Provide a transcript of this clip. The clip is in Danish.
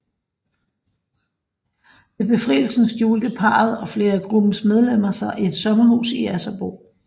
Ved befrielsen skjulte parret og flere af gruppens medlemmer sig i et sommerhus i Asserbo